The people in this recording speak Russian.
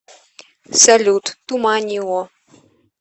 салют туманио